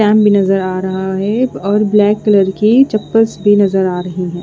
टेम भी नज़र आ रहा है और ब्लैक कलर की चप्पल्स भी नज़र आ रही है।